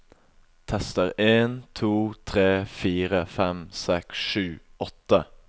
Tester en to tre fire fem seks sju åtte